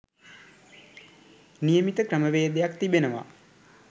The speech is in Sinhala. නියමිත ක්‍රමවේදයක්‌ තිබෙනවා.